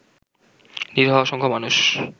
নিরীহ অসংখ্য মানুষ